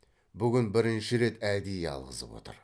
бүгін бірінші рет әдейі алғызып отыр